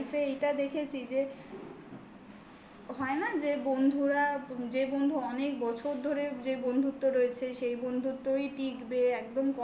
life এ এইটা দেখেছি যে হয় না যে বন্ধুরা যে বন্ধু অনেক বছর ধরে যে বন্ধুত্ব রয়েছে সেই বন্ধুত্বই টিকবে টিকবে একদম কম